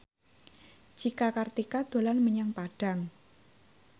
Cika Kartika dolan menyang Padang